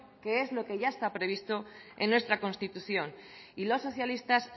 que es lo que ya está previsto en nuestra constitución y los socialistas